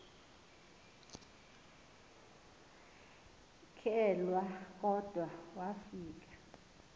kelwa kodwa wafika